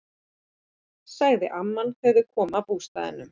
sagði amman þegar þeir komu að bústaðnum.